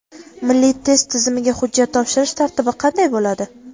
Milliy test tizimiga hujjat topshirish tartibi qanday bo‘ladi?.